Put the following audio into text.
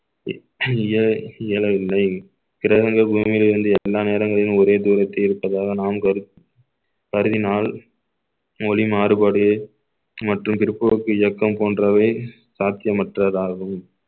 இய~ இயலவில்லை கிரகங்கள் பூமியில் இருந்து எல்லா நேரங்களிலும் ஒரே தூரத்தில் இருப்பதாக நாம் கருதி~ கருதினால் மொழி மாறுபாடு மற்றும் பிற்போக்கு இயக்கம் போன்றவை சாத்தியமற்றதாகும்